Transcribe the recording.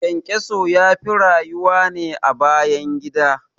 ƘyanƘyaso yafi rayuwa ne a bayan gida